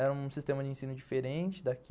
Era um sistema de ensino diferente daqui.